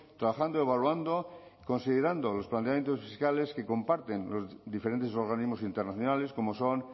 trabajando evaluando considerando los planteamientos fiscales que comparten los diferentes organismos internacionales como son